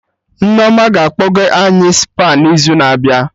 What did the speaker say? Nneoma ga-akpọga any Spa n'izu na-abịa